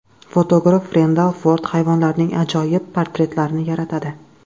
Fotograf Rendal Ford hayvonlarning ajoyib portretlarini yaratadi.